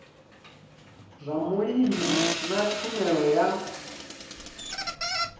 zwa vhulimi na tshumelo ya